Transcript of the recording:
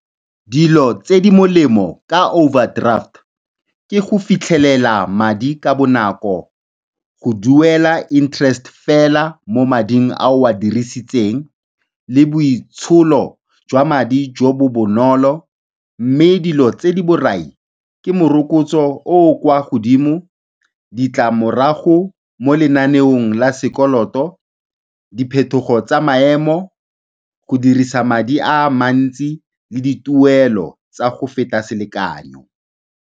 Dilo tse di molemo ka overdraft ke go fitlhelela madi ka bonako, go duela interest fela mo mading a o a dirisitseng le boitsholo jwa madi jo bo bonolo mme dilo tse di borai ke morokotso o o kwa godimo, ditlamorago mo lenaneong la sekoloto, diphetogo tsa maemo, go dirisa madi a mantsi le dituelo tsa go feta selekanyo.